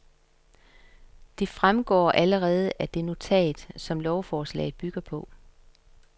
Det fremgår allerede af det notat, som lovforslaget bygger på.